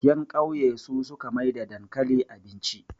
yankauye su suka maida dankali abinci